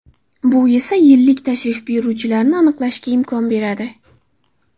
Bu esa yillik tashrif buyuruvchilarni aniqlashga imkon beradi.